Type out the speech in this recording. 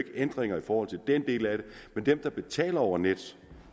ændringer i forhold til den del af det men dem der betaler over nettet